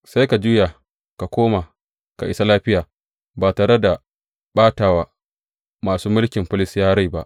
Sai ka juya ka koma ka isa lafiya ba tare da ɓata wa masu mulkin Filistiyawa rai ba.